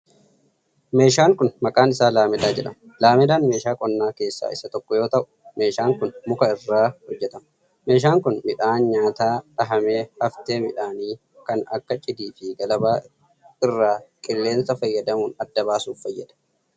Meeshaan kun, maqaan isaa laamedaa jedhama. Laamedaan meeshaa qonnaa keessaa isa tokko yoo ta'u, meeshaan kun muka irraa hojjatama. Meeshaan kun midhaan nyaataa dhahame haftee midhaanii kan akka cidii fi galabaa irraa qilleensa fayyadamuun adda baasuuf fayyada.